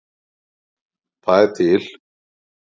Það er til